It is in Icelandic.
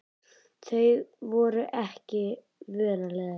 Þau voru ekki vön að leiðast.